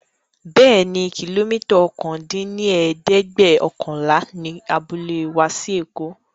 Bẹẹni, kilomita ọ̀kan dín ní ẹ̀ẹ́dẹ́gbẹ́ọ̀kànlá ni abúlé wa sí èkó